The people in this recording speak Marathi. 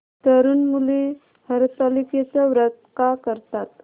तरुण मुली हरतालिकेचं व्रत का करतात